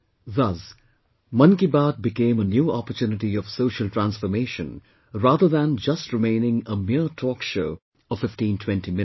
Thus, Mann Ki Baat became a new opportunity of social transformation rather than just remaining a mere talk show of 1520 minutes